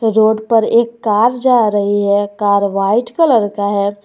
Road पर एक car जा रही है कार व्हाइट कलर का है।